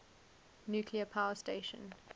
nuclear power station